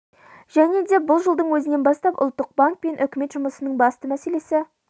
және де бұл жылдың өзінен бастап ұлттық банк пен үкімет жұмысының басты мәселесі